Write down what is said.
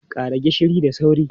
Ƙara gishiri da sauri!